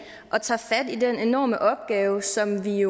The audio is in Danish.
og tager fat i den enorme opgave som vi